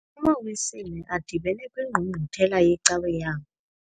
AmaWisile adibene kwingqungquthela yecawe yawo.